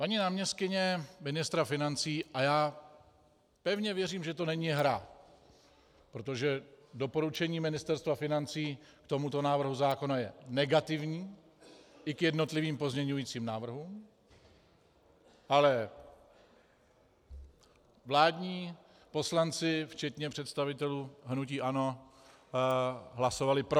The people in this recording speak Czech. Paní náměstkyně ministra financí - a já pevně věřím, že to není hra, protože doporučení Ministerstva financí k tomuto návrhu zákona je negativní, i k jednotlivým pozměňovacím návrhům, ale vládní poslanci včetně představitelů hnutí ANO hlasovali pro.